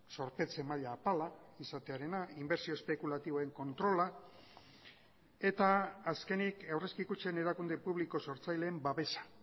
zorpetze maila apala izatearena inbertsio espekulatiboen kontrola eta azkenik aurrezki kutxen erakunde publiko sortzaileen babesa